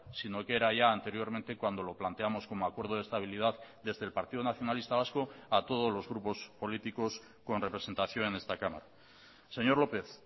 sino que era ya anteriormente cuando lo planteamos como acuerdo de estabilidad desde el partido nacionalista vasco a todos los grupos políticos con representación en esta cámara señor lópez